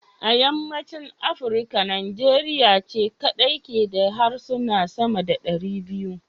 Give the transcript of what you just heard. A yammacin Afrika Nigeria ce kadai ke da harsuna sama da 200.